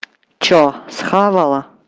что съела